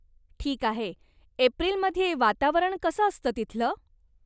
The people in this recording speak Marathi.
ठीक आहे. एप्रिलमध्ये वातावरण कसं असतं तिथलं?